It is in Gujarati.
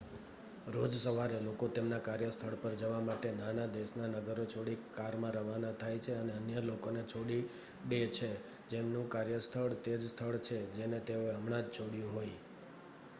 રોજ સવારે લોકો તેમના કાર્યસ્થળ પર જવા માટે નાના દેશના નગરો છોડી કારમાં રવાના થાય છે અને અન્ય લોકોને છોડી ડે છે જેમનું કાર્ય સ્થળ તે જ સ્થળ છે જેને તેઓએ હમણાં જ છોડ્યું હોય